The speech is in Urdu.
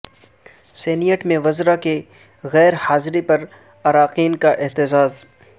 سینیٹ میں وزراء کی غیر حاضری پر اراکین کا احتجاج